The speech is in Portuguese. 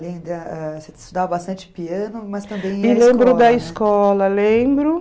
Você estudava bastante piano, mas também... E lembro da escola, lembro.